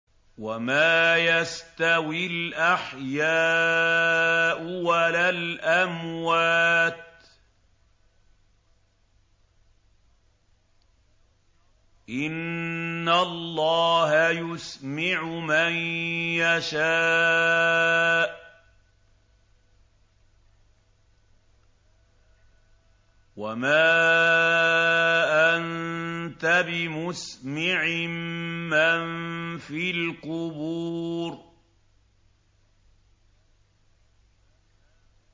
وَمَا يَسْتَوِي الْأَحْيَاءُ وَلَا الْأَمْوَاتُ ۚ إِنَّ اللَّهَ يُسْمِعُ مَن يَشَاءُ ۖ وَمَا أَنتَ بِمُسْمِعٍ مَّن فِي الْقُبُورِ